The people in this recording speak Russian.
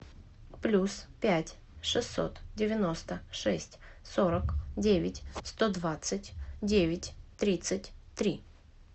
плюс пять шестьсот девяносто шесть сорок девять сто двадцать девять тридцать три